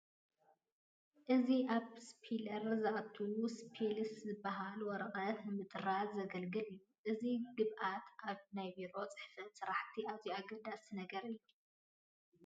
እዚ ኣብ ስቴፕለር ዝኣቱ ስቴፕልስ ዝበሃል ወረቐት ንምጥራዝ ዘገልግል እዩ፡፡ እዚ ግብኣት ኣብ ናይ ቢሮ ፅሕፈት ስራሕቲ ኣዝዩ ኣገዳሲ ነገር እዩ፡፡